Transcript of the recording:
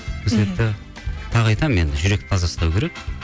сол себепті тағы айтамын енді жүректі таза ұстау керек